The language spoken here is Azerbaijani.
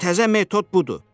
Təzə metod budur.